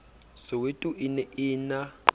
soweto e ne e na